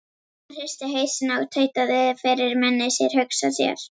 Hann hristi hausinn og tautaði fyrir munni sér: Hugsa sér.